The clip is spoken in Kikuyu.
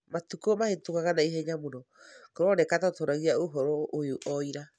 Matukũ mahĩtũkaga na ihenya mũno, kũroneka ta twaragia ũhoro ũyũ o ira.